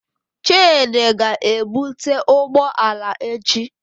Chidi ga-ebute ụgbọ ala echi.